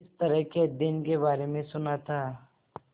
इस तरह के अध्ययन के बारे में सुना था